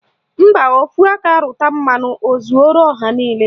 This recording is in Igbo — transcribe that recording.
Mba, ofu aka rụta mmanụ o zuoro ọha niile